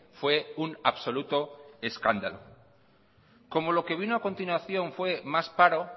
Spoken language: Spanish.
fue un absoluto escándalo como lo que vino a continuación más paro